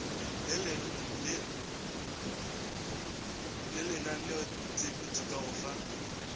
le lenaneotshepetšo ka go fa